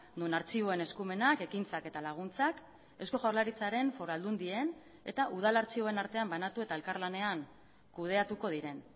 non artxiboen eskumenak ekintzak eta laguntzak eusko jaurlaritzaren foru aldundien eta udal artxiboen artean banatu eta elkarlanean kudeatuko diren